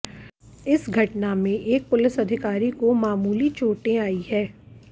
इस घटना में एक पुलिस अधिकारी को मामूली चोटें आई है